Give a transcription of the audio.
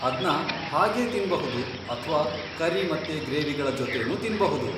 ಅದ್ನ ಹಾಗೇ ತಿನ್ಬಹುದು ಅಥ್ವಾ ಕರಿ ಮತ್ತೆ ಗ್ರೇವಿಗಳ ಜೊತೆನೂ ತಿನ್ಬಹುದು.